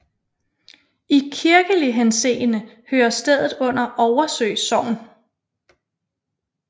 I kirkelig henseende hører stedet under Oversø Sogn